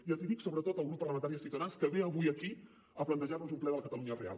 i els hi dic sobretot al grup parlamentari de ciutadans que ve avui aquí a plantejar nos un ple de la catalunya real